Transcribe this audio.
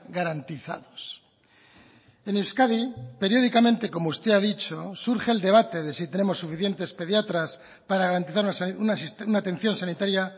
garantizados en euskadi periódicamente como usted ha dicho surge el debate de si tenemos suficientes pediatras para garantizar una atención sanitaria